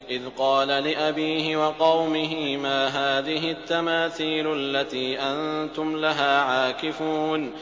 إِذْ قَالَ لِأَبِيهِ وَقَوْمِهِ مَا هَٰذِهِ التَّمَاثِيلُ الَّتِي أَنتُمْ لَهَا عَاكِفُونَ